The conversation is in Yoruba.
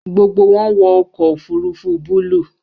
Gbogbo wọn wọ ọkọ ofurufu buluu